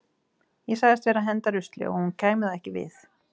Ég sagðist vera að henda rusli og að honum kæmi það ekki við.